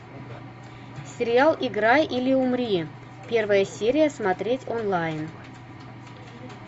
сериал играй или умри первая серия смотреть онлайн